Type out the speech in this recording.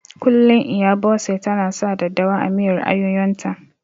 Kullum Iya Bose ta na sa daddawa a miyar ayoyon ta